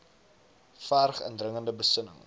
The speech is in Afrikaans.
verg indringende besinning